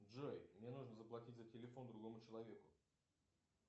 джой мне нужно заплатить за телефон другому человеку